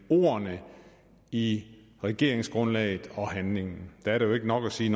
ordene i regeringsgrundlaget og handlingen der er det jo ikke nok at sige